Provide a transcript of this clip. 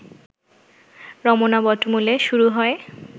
রমনা বটমূলে শুরু হয়